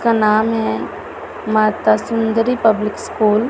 का नाम है माता सुंदरी पब्लिक स्कूल ।